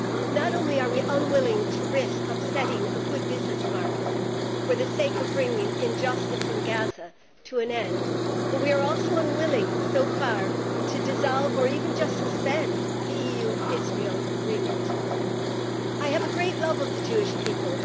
Not only are we unwilling to risk upsetting a good business market for the sake of bringing injustice in Gaza to an end, but we are also unwilling so far to dissolve or even just suspend the EU Israel agreement. I have a great love of the Jewish people.